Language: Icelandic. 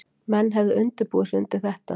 Menn hefðu undirbúið sig undir þetta